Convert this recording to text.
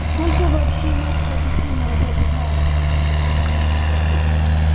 сколько вообще мать про петину работу знает